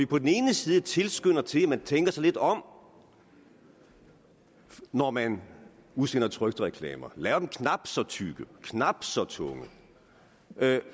på den ene side tilskynder vi til at man tænker sig lidt om når man udsender trykte reklamer laver dem knap så tykke knap så tunge